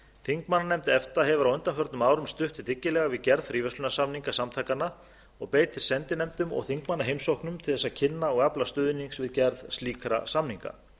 þingmannanefnd efta hefur á undanförnum árum stutt dyggilega við gerð fríverslunarsamninga samtakanna og beitir sendinefndum og þingmannaheimsóknum til þess að kynna og afla stuðnings við gerð slíkra samninga